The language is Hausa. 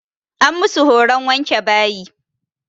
An musu horon wanke bayi.